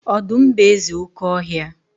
Ọdụm bụ eze oké ọhịa.